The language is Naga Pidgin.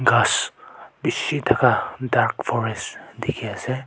ghas bishi thaka dark forest dikhi ase.